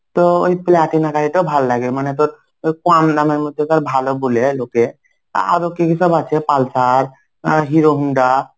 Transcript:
তো ওই প্লাটিনা গাড়ি টাও ভালো লাগে. মানে তোর ওই কম দামের মধ্যে তার ভালো বলে লোকে. আরো কি কি সব আছে pulsar, Herohonda.